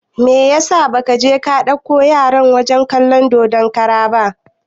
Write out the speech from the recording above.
Meyasa ba ka je ka dauko yaran wajen kalan dodon kara ba?